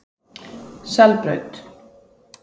Selbraut